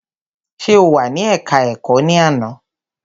Ṣe o wà ní ẹka ẹ̀kọ́ ẹ̀kọ́ ní àná?